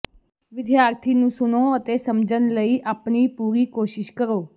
ਵਿਦਿਆਰਥੀ ਨੂੰ ਸੁਣੋ ਅਤੇ ਸਮਝਣ ਲਈ ਆਪਣੀ ਪੂਰੀ ਕੋਸ਼ਿਸ਼ ਕਰੋ